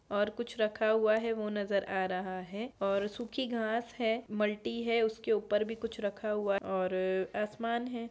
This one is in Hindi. और कुछ रखा हुआ है वो नजर आ रहा है और सूखी घास है मल्टी है उसके ऊपर भी कुछ रखा हुआ और आसमान है।